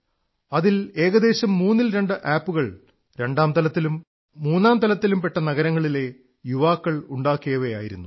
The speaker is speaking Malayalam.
അതിൽ ഏകദേശം മൂന്നിൽ രണ്ട് ആപ്പ് കൾ രണ്ടാം തലത്തിലും മൂന്നാം തലത്തിലും പെട്ട നഗരങ്ങളിലെ യുവാക്കളുണ്ടാക്കിയവയായിരുന്നു